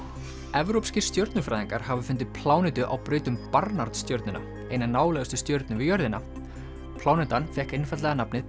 evrópskir stjörnufræðingar hafa fundið plánetu á braut um stjörnuna eina nálægustu stjörnu við jörðina plánetan fékk einfaldlega nafnið